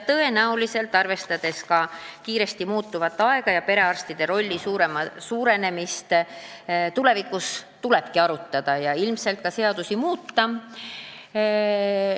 Arvestades ka kiiresti muutuvat aega ja perearstide rolli suurenemist tulevikus, tulebki seda arutada ja ilmselt ka seadusi muuta.